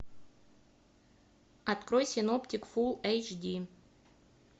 открой синоптик фулл эйч ди